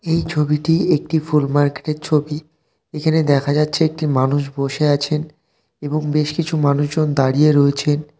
এই ছবিটি একটি ফুল মার্কেট এর ছবি এখানে দেখা যাচ্ছে একটি মানুষ বসে আছেন এবং বেশ কিছু মানুষজন দাঁড়িয়ে রয়েছেন।